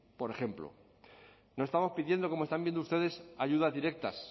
por ejemplo no estamos pidiendo como están viendo ustedes ayudas directas